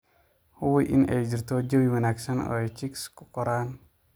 Hubi in ay jirto jawi wanaagsan oo ay chicks ku koraan.